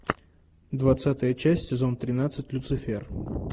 двадцатая часть сезон тринадцать люцифер